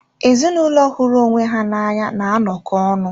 Ezinụlọ hụrụ onwe ha na anya na-anọkọ ọnụ.